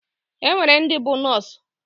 Enwere ndi bu nọọsụ.